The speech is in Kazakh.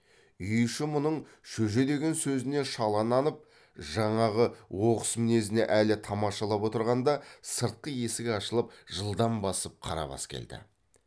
үй іші мұның шөже деген сөзіне шала нанып жаңағы оқыс мінезіне әлі тамашалап отырғанда сыртқы есік ашылып жылдам басып қарабас келді